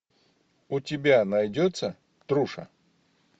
у тебя найдется труша